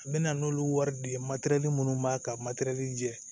N bɛna n'olu wari de ye minnu b'a ka jɛ